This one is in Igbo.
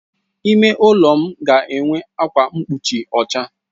Ime ụlọ m ga enwe ákwà mgbochi ọcha.